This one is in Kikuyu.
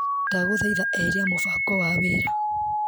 Ndagũthaitha eheria mũbango wa wĩra .